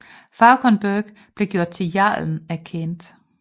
Fauconberg blev gjort til jarlen af Kent